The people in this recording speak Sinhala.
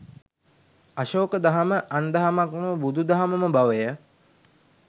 අශෝක දහම අන් දහමක් නොව බුදු දහමම බවය